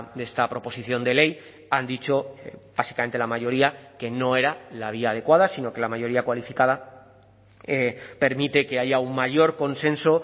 de esta proposición de ley han dicho básicamente la mayoría que no era la vía adecuada sino que la mayoría cualificada permite que haya un mayor consenso